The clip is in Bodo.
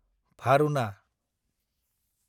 भारुना